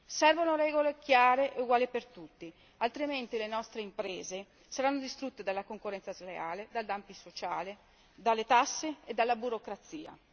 Servono regole chiare e uguali per tutti, altrimenti le nostre imprese saranno distrutte dalla concorrenza sleale, dal dumping sociale, dalle tasse e dalla burocrazia.